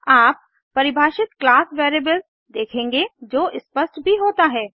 आप परिभाषित class variable देखेंगे जो स्पष्ट भी होता है